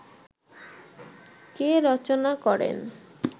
কে রচনা করেন